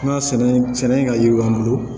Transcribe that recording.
N ka sɛnɛ ka yiriwa an bolo